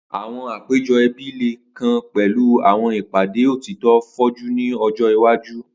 Awọn apejọ ẹbi le kan pẹlu awọn ipade otitọ foju ni ọjọ iwaju.